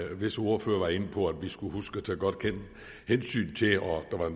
visse ordførere var inde på at vi skal huske at tage godt hensyn